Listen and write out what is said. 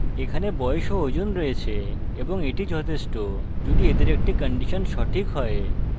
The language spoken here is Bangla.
এখানে বয়স of ওজন রয়েছে এবং এটি যথেষ্ট যদি এদের একটি কন্ডিশন সঠিক হয়